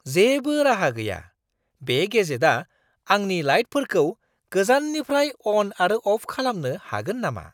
जेबो राहा गैया! बे गेजेटआ आंनि लाइटफोरखौ गोजाननिफ्राय अन आरो अफ खालामनो हागोन नामा!